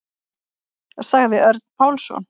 Sagði Örn Pálsson.